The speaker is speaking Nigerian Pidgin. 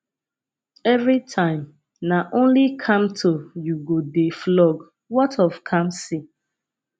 everytime na only kamto you go dey flog what of kamsi